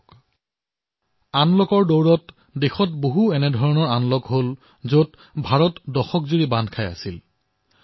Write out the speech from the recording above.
বন্ধুসকল আনলকৰ সময়ছোৱাত এনেকুৱা বহুতো কথা আনলক হৈছে যি দশকজুৰি ভাৰতক বান্ধি ৰাখিছিল